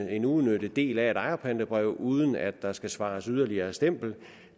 en uudnyttet del af et ejerpantebrev uden at der skal svares yderligere stempling